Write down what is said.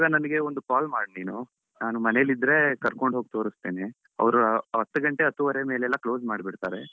ನನಗೆ ಒಂದು call ಮಾಡು ನೀನು ನಾನು ಮನೆಯಲ್ಲಿ ಇದ್ರೆ ಕರ್ಕೊಂಡು ಹೋಗಿ ತೋರಿಸ್ತೇನೆ. ಅವರು ಹತ್ತು ಗಂಟೆ ಹತ್ತೂವರೆ ಮೇಲೆ ಎಲ್ಲ close ಮಾಡಿ ಬಿಡ್ತಾರೆ.